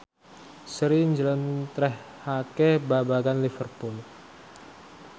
Sri njlentrehake babagan Liverpool